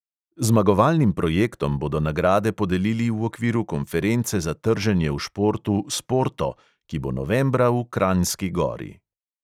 Zmagovalnim projektom bodo nagrade podelili v okviru konference za trženje v športu sporto, ki bo novembra v kranjski gori.